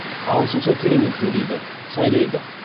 ағылшынша керемет сөйлейді сайрайды